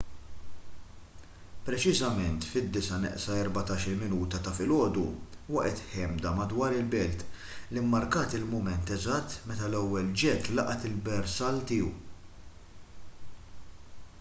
preċiżament fit-8:46 ta’ filgħodu waqgħet ħemda madwar il-belt li mmarkat il-mument eżatt meta l-ewwel ġett laqat il-bersall tiegħu